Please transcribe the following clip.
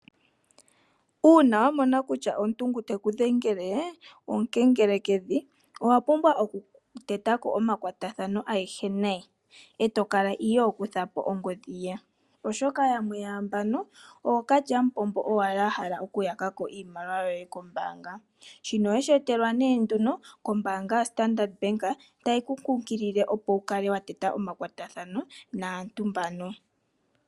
Uuna wamona kutya omuntu ngu teku dhengele omukengelekedhi owapumbwa okutetako omakwatathano agehe naye eto kala iho kuthapo ongodhi ye oshoka yamwe yaambano ookalyamupombo owala ahala okuyaka ko iimaliwa yoye kombaanga , shino oweshi etelwa nee nduno koombaanga yoStandard Bank tayi ku kunkilile opo wu kale wa teta omakwatathano naantu mbaka